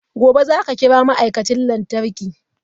Gobe ​​zaka kira ma'aikacin lantarki?